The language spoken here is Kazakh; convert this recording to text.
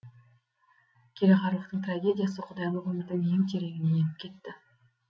кереғарлықтың трагедиясы құдайлық өмірдің ең тереңіне еніп кетті